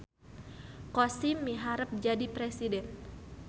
Kosim miharep jadi presiden